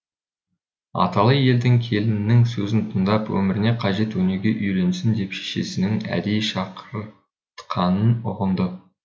аталы елдің келінінің сөзін тыңдап өміріне қажет өнеге үйренсін деп шешесінің әдейі шақыртқанын ұғынды